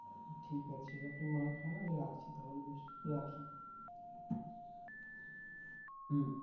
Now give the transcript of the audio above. ঠিক আছে আপনি মার খান আমি রাখছি তাহলে